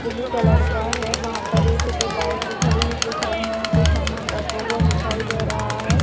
Blue colour का है वहां पर एक दो बाइक भी खड़ी हुई दिख रहीं हैं कुछ सामान रखा हुआ दिखाई दे रहा हैं।